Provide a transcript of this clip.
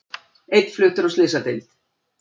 Einn fluttur á slysadeild